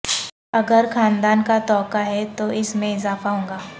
اگر خاندان کا توقع ہے تو اس میں اضافہ ہوگا